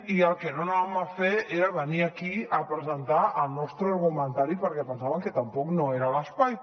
i el que no havíem de fer era venir aquí a presentar el nostre argumentari perquè pensàvem que tampoc no era l’espai